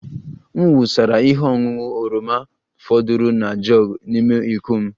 M wụsara ihe ọṅụṅụ oroma fọdụrụnụ na jug n'ime iko m